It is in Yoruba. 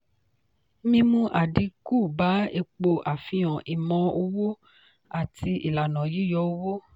mímú àdínkù bá epo àfihàn ìmọ̀ owó àti ìlànà yíyọ owó.